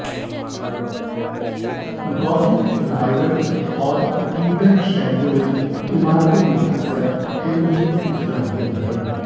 Gothic revival और Tudor शैलियों में इमारतों में अक्सर ओरियल खिड़कियां होती हैं